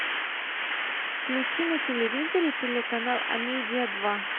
включи на телевизоре телеканал амедиа два